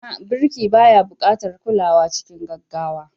A'a, birki baya buƙatar kulawa cikin gaggawa.